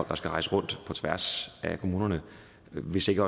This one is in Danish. der skulle rejse rundt på tværs af kommunerne hvis ikke